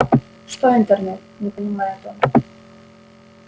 что интернет не понимает он